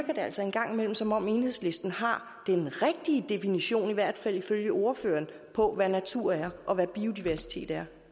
det altså en gang imellem som om enhedslisten har den rigtige definition i hvert fald ifølge ordføreren på hvad natur er og hvad biodiversitet er